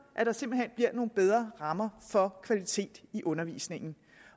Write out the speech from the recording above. at der simpelt hen bliver nogle bedre rammer for kvaliteten i undervisningen